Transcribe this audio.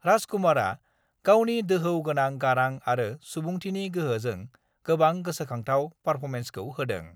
राज कुमारआ गावनि दोहौ गोनां गारां आरो सुबुंथिनि गोहोजों गोबां गोसोखांथाव पारफर्मेन्सखौ होदों।